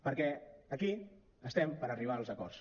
perquè aquí estem per arribar als acords